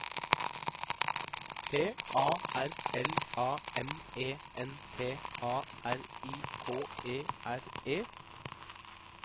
P A R L A M E N T A R I K E R E